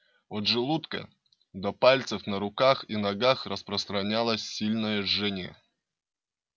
от желудка до пальцев на руках и ногах распространялось сильное жжение